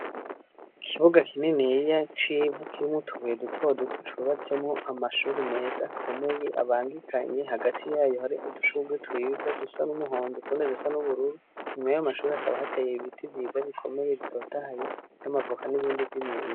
Ikibuga kininiya c'ivu kirimwo utubuye duto duto cubatsemwo amashure meza akomeye abangikanye, hagati yayo hari udushugwe twiza dusa n'umuhondo n'utundi dusa n'ubururu, nyuma yayo mashure hakaba hateye ibiti vyiza bikomeye bitotahaye vy'amavoka n'ibindi vy'imyembe.